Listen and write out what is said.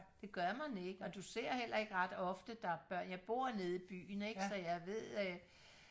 det gør man ikke og du ser heller ikke ret ofte der er børn jeg bor nede i byen ikke så jeg ved øh